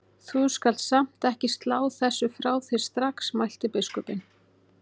Þú skalt samt ekki slá þessu frá þér strax mælti biskupinn.